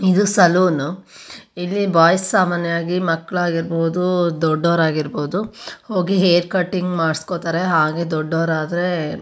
ಇದು ಸಲೂನ್ ಇಲ್ಲಿ ಬಾಯ್ಸ್ ಸಾಮಾನ್ಯವಾಗಿ ಮಕ್ಕಳ್ ಆಗಿರಬಹುದು ದೊಡ್ಡವ್ರ ಆಗಿರಬಹುದು ಹೋಗಿ ಹೇರ್ ಕಟಿಂಗ್ ಮಾಡ್ಸಕೊತ್ತರೆ ಹಾಗೆ ದೊಡ್ಡವ್ರ ಆದ್ರೆ--